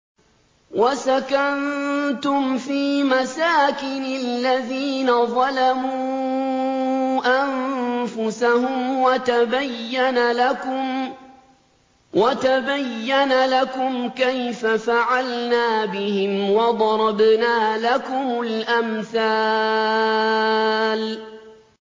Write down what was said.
وَسَكَنتُمْ فِي مَسَاكِنِ الَّذِينَ ظَلَمُوا أَنفُسَهُمْ وَتَبَيَّنَ لَكُمْ كَيْفَ فَعَلْنَا بِهِمْ وَضَرَبْنَا لَكُمُ الْأَمْثَالَ